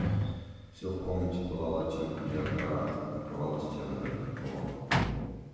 всё в комнате пылало оттенками ярко-оранжевого покрывало стены даже потолок